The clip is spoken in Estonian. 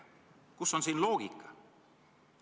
Kus on siin loogika?